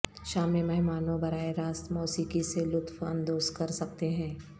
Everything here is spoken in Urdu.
شام میں مہمانوں براہ راست موسیقی سے لطف اندوز کر سکتے ہیں